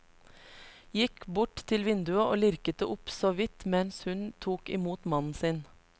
Gikk bort til vinduet og lirket det opp såvidt mens hun tok imot mannen sin.